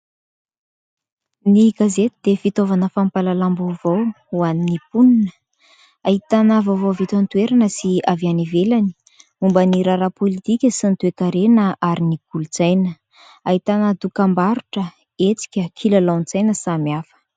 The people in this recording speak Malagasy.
Ny gazety dia fitaovana fampahalalam-baovao ho an'ny mponina. Ahitana vaovao avy eto an-toerana sy avy any ivelany, momba ny raharaha politika sy ny toe-karena ary ny kolotsaina. Ahitana dokambarotra, hetsika, kilalaon-tsaina samihafa.